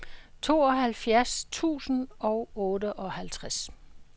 tooghalvfjerds tusind og otteoghalvtreds